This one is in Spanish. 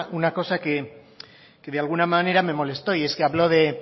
una cosa que de alguna manera me molesto y es que hablo de